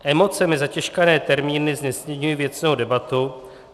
Emocemi zatěžkané termíny znesnadňují věcnou debatu.